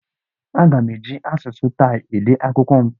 Aga m eji asụsụ Taị ede akwụkwọ m.